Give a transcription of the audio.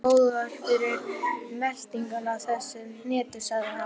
Særðu fegurðarskyn hans og tilfinningu fyrir fágun og siðmenningu.